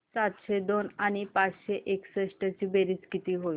सातशे दोन आणि पाचशे एकसष्ट ची बेरीज किती होईल